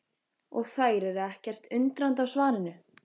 Og þær eru ekkert undrandi á svarinu.